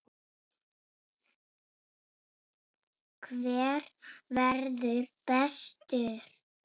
Hver verður bestur?